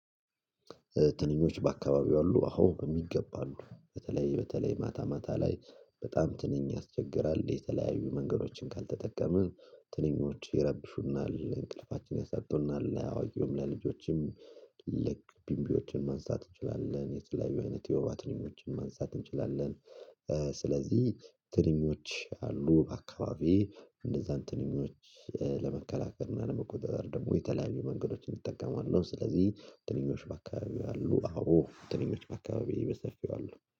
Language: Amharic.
ትንኞች በአካባቢው አሉ አዎ በሚገባ አሉ። በተለይ በተለይ ማታ ማታ ላይ በጣም ትንኝ ያስቸግራል የተለያዩ መንገዶችን ካልተጠቀመ ትንኞች ይረብሹናል እንቅልፋችን ያሳጡናል። ለአዋቂውም ለልጆችም ልክ ቢምቢዎችን ማንሳት እንችላለን የተለያዩ አይነት የወባ ትንኞችን ማንሳት እንችላለን ስለዚህ ትንኞች አሉ በአካባቢዬ እነዛን ትንኞች ለመከላከል እና ለመቆጣጠር ደግሞ የተለያዩ መንገዶችን እጠቀማለሁ ስለዚህ ትንኞች በአካባቢው አሉ አዎ ትንኞች በአካባቢዬ በሰፊው አሉ